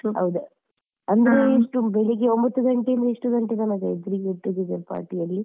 ಹೌದಾ ಅಂದ್ರೆ ಎಷ್ಟು ಬೆಳಿಗ್ಗೆ ಒಂಬತ್ತು ಗಂಟೆ ಇಂದ ಎಷ್ಟು ಗಂಟೆ ತನಕ ಇದ್ರಿ get together party ಅಲ್ಲಿ?